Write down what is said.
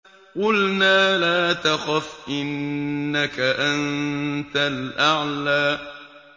قُلْنَا لَا تَخَفْ إِنَّكَ أَنتَ الْأَعْلَىٰ